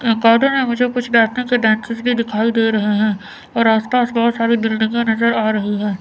अं cartoon में मुझे कुछ के डेंटिस्ट भी दिखाई दे रहे है और आस पास बहुत सारी बिल्डिंगे नज़र आ रही है।